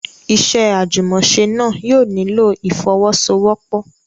Iṣẹ́ àjùmọ̀ṣe náà yóò nílò ìfọ́wọ́sọwọ́pọ̀.